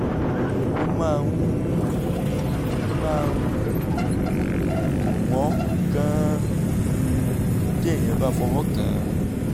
ó máa ń um máa ń um dùn wọ́n gan-an um téèyàn bá fọwọ́ kàn án